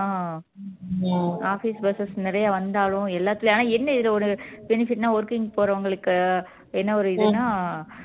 அஹ் office buses நிறைய வந்தாலும் எல்லாத்துலயும் ஆனா என்ன இதுல ஒரு benefit னா working க்கு போறவங்களுக்கு என்ன ஒரு இதுன்னா